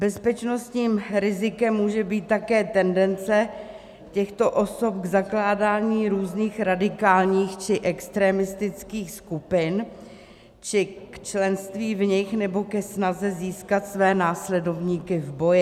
Bezpečnostním rizikem může být také tendence těchto osob k zakládání různých radikálních či extremistických skupin či k členství v nich nebo ke snaze získat své následovníky v boji.